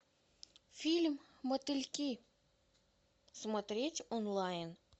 фильм мотыльки смотреть онлайн